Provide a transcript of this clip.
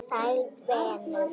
Sæll venur!